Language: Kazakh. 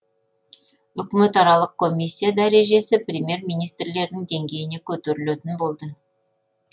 үкіметаралық комиссия дәрежесі премьер министрлердің деңгейіне көтерілетін болды